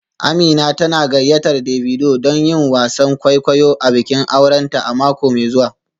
Amina tana gayyatar Davido don yin wasan kwaikwayo a bikin aurenta a mako mai zuwa